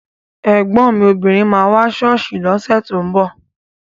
Ẹ̀gbọ́n mi obìnrin máa wá sí ṣọ́ọ̀ṣì lọ́sẹ̀ tó ń bọ̀